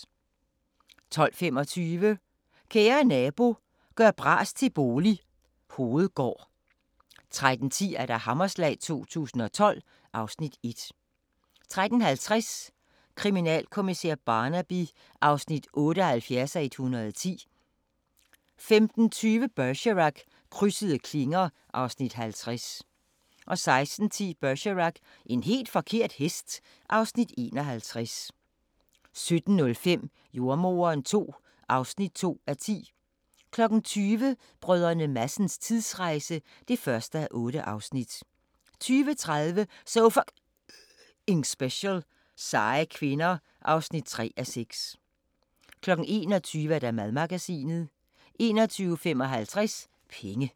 12:25: Kære nabo – gør bras til bolig – Hovedgård 13:10: Hammerslag 2012 (Afs. 1) 13:50: Kriminalkommissær Barnaby (78:110) 15:20: Bergerac: Krydsede klinger (Afs. 50) 16:10: Bergerac: En helt forkert hest (Afs. 51) 17:05: Jordemoderen II (2:10) 20:00: Brdr. Madsens tidsrejse (1:8) 20:30: So F***ing Special: Seje kvinder (3:6) 21:00: Madmagasinet 21:55: Penge